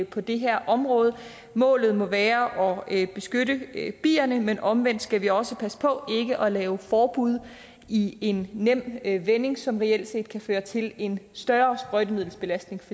på det her område målet må være at beskytte bierne men omvendt skal vi også passe på ikke at lave forbud i en nem vending som reelt kan føre til en større sprøjtemiddelsbelastning